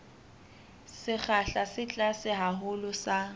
sekgahla se tlase haholo sa